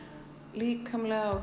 líkamlega og